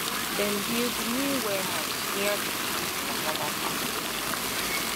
dem build new warehouse near the big cassava farm